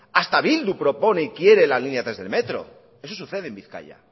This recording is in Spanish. hasta bildu propone y quiere la línea tres del metro eso sucede en bizkaia